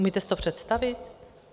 Umíte si to představit?